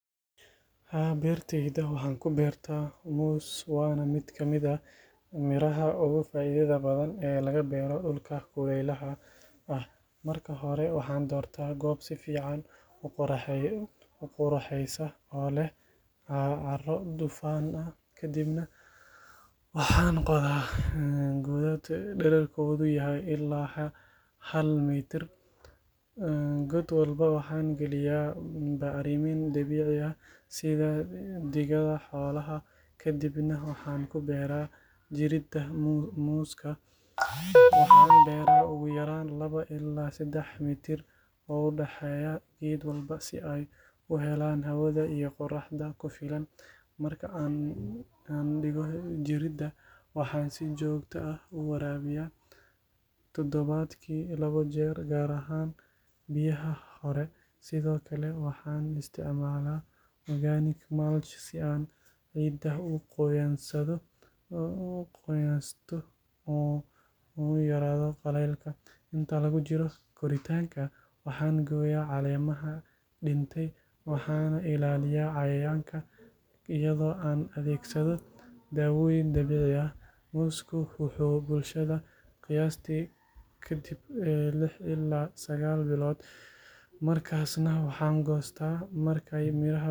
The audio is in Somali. Haa, beertayda waxaan ku beertaa muus waana mid kamid ah miraha ugu faa’iidada badan ee laga beero dhulka kuleylaha ah. Marka hore waxaan doortaa goob si fiican u qorraxeysa oo leh carro dufan leh, kadibna waxaan qodaa godad dhererkoodu yahay ilaa hal mitir. God walba waxaan gelinayaa bacrimin dabiici ah sida digada xoolaha kadibna waxaan ku beeraa jirridda muuska. Waxaan beeraa ugu yaraan laba ilaa saddex mitir u dhexeeya geed walba si ay u helaan hawada iyo qorraxda ku filan. Marka aan dhigo jirridda, waxaan si joogto ah u waraabiyaa todobaadkii labo jeer, gaar ahaan bilaha hore. Sidoo kale waxaan isticmaalaa organic mulch si aan ciidda u qoyaanaysto uuna u yaraado qallaylka. Inta lagu jiro koritaanka, waxaan gooyaa caleemaha dhintay, waxaana ilaalinayaa cayayaanka iyadoo aan adeegsado daawooyin dabiici ah. Muusku wuxuu bislaadaa qiyaastii kadib lix ilaa sagaal bilood, markaasna waxaan goostaa markay miraha bislaadaan.